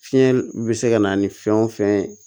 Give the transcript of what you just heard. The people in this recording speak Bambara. Fiɲɛ bɛ se ka na ni fɛn o fɛn ye